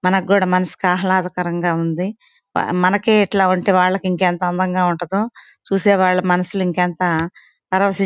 మనకి కూడా మనసుకి ఆహ్లాదకరంగా ఉంది మా మనకే ఇట్లా ఉంటె వాళ్ళకి ఇంకెంత అందంగా ఉంటదో చూసేవాళ్ల మనసులు ఇంకెంత పరవసిం--